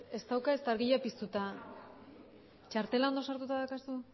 ez dauka ezta argia piztuta txartela ondo sartuta daukazu